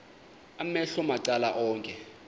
amehlo macala onke